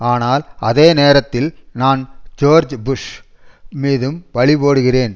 ஆனால் அதே நேரத்தில் நான் ஜோர்ஜ் புஷ் மீதும் பழி போடுகிறேன்